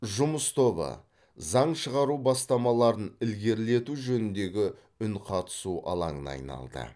жұмыс тобы заң шығару бастамаларын ілгерілету жөніндегі үнқатысу алаңына айналды